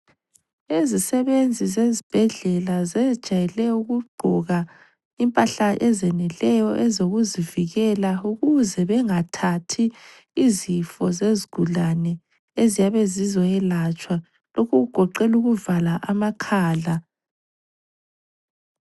Izisebenzi zezibhedlela zejayele ukugqoka impahla ezeneleyo ezokuzivikela ukuze bangathathi izifo zezigulane eziyabe zizokwelatshwa lokhu kugoqela ukuvala amakhala.